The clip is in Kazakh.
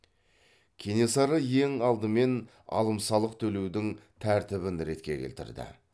кенесары ең апдымен алым салық төлеудің тәртібін ретке келтірді